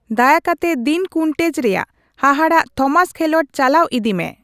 ᱫᱟᱭᱟᱠᱟᱛᱮ Dean Koontz ᱨᱮᱭᱟᱜ ᱦᱟᱦᱟᱲᱟᱜ ᱛᱷᱚᱢᱟᱥ ᱠᱷᱮᱞᱚᱰ ᱪᱟᱞᱟᱣ ᱤᱫᱤ ᱢᱮ